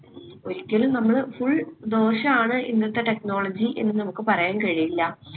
ഒരിക്കലും നമ്മള് full ദോഷാണ് ഇന്നത്തെ technology എന്ന് നമ്മുക്ക് പറയാൻ കഴിയില്ല